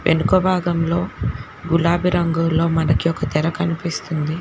వెనుక భాగంలో గులాబీ రంగులో మనకి ఒక తెర కనిపిస్తుంది.